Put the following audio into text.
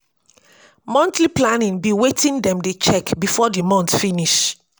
monthly planning be wetin dem dey check before di month finish